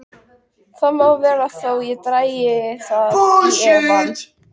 Það má vera þó ég dragi það í efa.